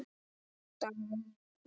Davíð Já.